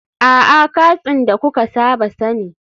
A'a, katsin da kuka saba sani